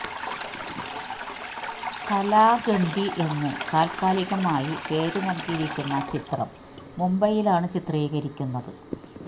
കാലാ ഗണ്ഡി എന്ന് താത്കാലികമായി പേരു നല്കിയിരിക്കുന്ന ചിത്രം മുംബയിലാണ് ചിത്രീകരിക്കുന്നത്